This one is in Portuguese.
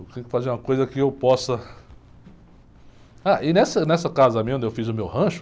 Eu tenho que fazer uma coisa que eu possa... Ah, e nessa, nessa casa minha, onde eu fiz o meu rancho,